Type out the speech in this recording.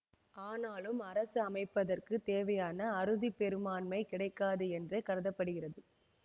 ஆனாலும் அரசு அமைப்பதற்குத் தேவையான அறுதி பெரும்பான்மை கிடைக்காது என்றே கருத படுகிறது